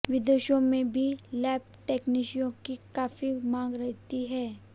विदेशों में भी लैब टेक्नीशियनों की काफी मांग रहती है